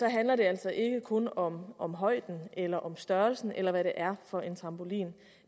handler det altså ikke kun om om højden eller om størrelsen eller hvad det er for en trampolin